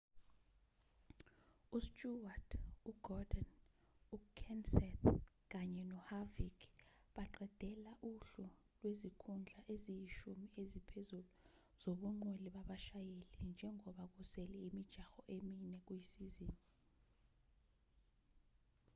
usteward ugordon ukenseth kanye noharvick baqedela uhlu lwezikhundla eziyishumi eziphezulu zobungqwele babashayeli njengoba kusele imijaho emine kuyisizini